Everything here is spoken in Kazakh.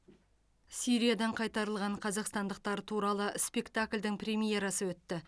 сириядан қайтарылған қазақстандықтар туралы спектакльдің премьерасы өтті